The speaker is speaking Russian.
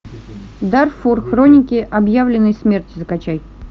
дарфур хроники объявленной смерти закачай